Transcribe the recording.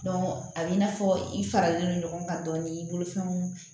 a b'i n'a fɔ i faralen don ɲɔgɔn kan dɔɔnin i bolofɛnw